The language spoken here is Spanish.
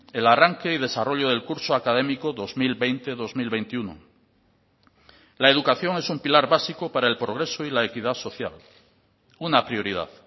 el arranque y desarrollo del curso académico dos mil veinte dos mil veintiuno la educación es un pilar básico para el progreso y la equidad social una prioridad